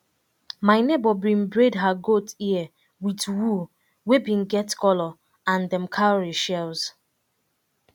my neighbour bin braid her goat ear with wool wey bin get colour and dem cowry shells